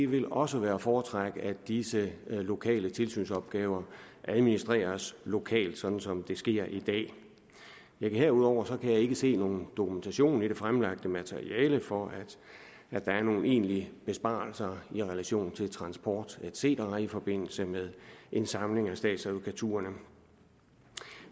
vil også være at foretrække at disse lokale tilsynsopgaver administreres lokalt sådan som det sker i dag herudover kan jeg ikke se nogen dokumentation i det fremlagte materiale for at der er nogen enlige besparelser i relation til transport et cetera i forbindelse med en samling af statsadvokaturerne